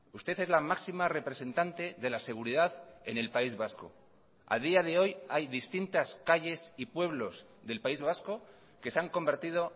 usted es la máxima representante de la seguridad en el país vasco a día de hoy hay distintas calles y pueblos del país vasco que se han convertido